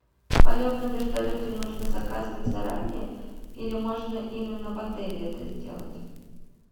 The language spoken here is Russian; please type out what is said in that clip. полет на вертолете нужно заказывать заранее или можно именно в отеле это сделать